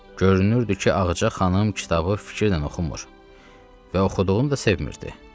Görünürdü ki, Ağaca xanım kitabı fikirlə oxumur və oxuduğunu da sevmirdi.